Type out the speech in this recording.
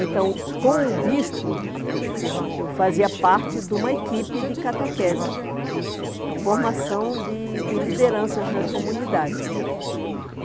Então, com o bispo, eu fazia parte de uma equipe de catequese, de formação de de lideranças nas comunidades.